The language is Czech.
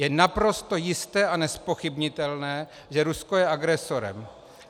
Je naprosto jisté a nezpochybnitelné, že Rusko je agresorem.